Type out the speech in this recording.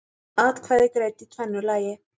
Atkvæði greidd í tvennu lagi